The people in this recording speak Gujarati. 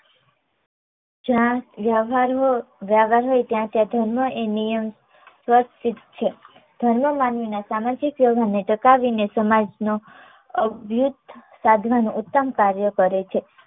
જ્યાં વ્યવહાર હોય વ્યવહાર હોય ત્યાં ત્યાં ધર્મ એ નિયંત્રણ છે. ધર્મ માનવી ના સામાજિક વ્યવહાર ને ટકાવીને સમાજ ના અદભુત સાધનાનો ઉત્તમ કાર્ય કરે છે